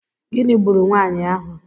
Gịnị gburu nwaanyị ahụ?